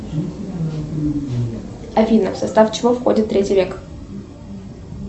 афина в состав чего входит третий век